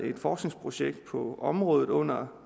et forskningsprojekt på området under